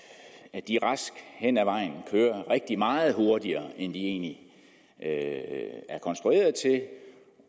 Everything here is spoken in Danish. at de rask henad vejen kører rigtig meget hurtigere end de egentlig er konstrueret til og